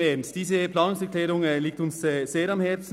Nein, im Ernst: Diese Planungserklärung liegt uns sehr am Herzen.